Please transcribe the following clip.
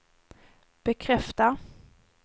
bekräfta